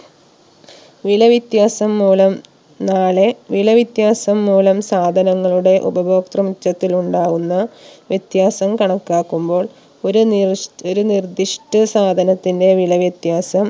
വില വിത്യാസംമൂലം നാളെ വില വിത്യാസം മൂലം സാധങ്ങളുടെ ഉപഭോക്തൃ മിച്ചതിൽ ഉണ്ടാവുന്ന വിത്യാസം കണക്കാക്കുമ്പോൾ ഒരു നിർശ് ഒരു നിർദിഷ്ട സാധനത്തിന്റെ വില വിത്യാസം